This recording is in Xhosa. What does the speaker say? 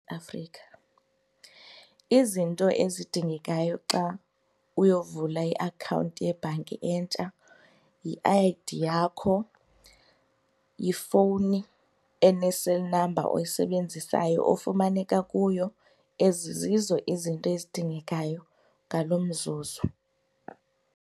Afrika, izinto ezidingekayo xa uyovula iakhawunti yebhanki entsha yi-I_D yakho yifowuni ene-cell number oyisebenzisayo ofumaneka kuyo. Ezi zizo izinto ezidingekayo ngaloo mzuzu.